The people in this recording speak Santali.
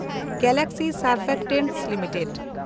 galaxy Surfactants limited